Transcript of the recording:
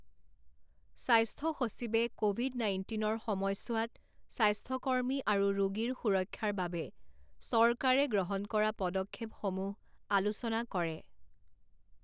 স্বাস্থ্য সচিবে ক'ভিড নাইণ্টিনৰ সমযছোৱাত স্বাস্থ্য কৰ্মী আৰু ৰোগীৰ সুৰক্ষাৰ বাবে চৰকাৰে গ্ৰহণ কৰা পদক্ষেপসমূহ আলোচনা কৰে